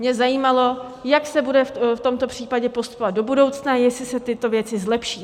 Mě zajímalo, jak se bude v tomto případě postupovat do budoucna, jestli se tyto věci zlepší.